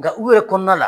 Nka u yɛrɛ kɔnɔna la